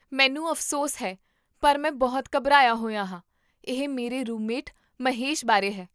ਮੈਨੂੰ ਅਫਸੋਸ ਹੈ ਪਰ ਮੈਂ ਬਹੁਤ ਘਬਰਾਇਆ ਹੋਇਆ ਹਾਂ, ਇਹ ਮੇਰੇ ਰੂਮਮੇਟ ਮਹੇਸ਼ ਬਾਰੇ ਹੈ